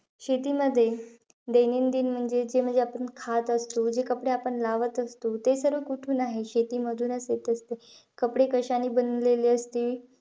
शेतीमध्ये, दैनंदिन म्हणजे, जे म्हणजे, आपण खात असतो, जे कपडे आपण लावत असतो, ते सर्व कुठून आहे? शेतीमधूनचं येत असते. कपडे कशाने बनवलेले असते?